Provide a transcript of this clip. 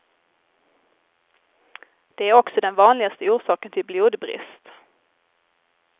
Det är också den vanligaste orsaken till blodbrist.